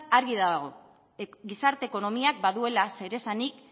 argi dago gizarte ekonomiak baduela zeresanik